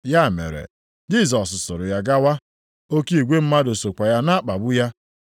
Ya mere, Jisọs soro ya gawa. Oke igwe mmadụ sokwa ya na-akpagbu ya.